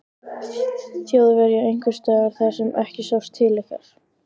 Þjóðverja einhvers staðar þar sem ekki sást til ykkar?